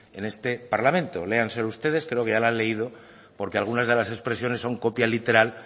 en este parlamento léanselo ustedes creo que ya la han leído porque algunas de las expresiones son copia literal